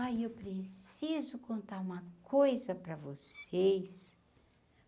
Ai, eu preciso contar uma coisa para vocês.